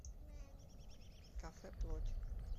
кафе плоть